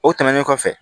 O tɛmɛnen kɔfɛ